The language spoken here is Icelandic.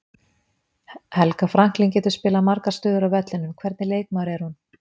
Helga Franklín getur spilað margar stöður á vellinum, hvernig leikmaður er hún?